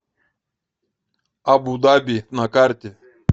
абу даби на карте